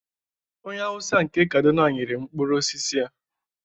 onye Hausa nke Kaduna nyere m mkpụrụ osisi a